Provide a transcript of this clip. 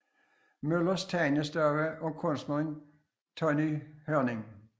Møllers Tegnestue og kunstneren Tonny Hørning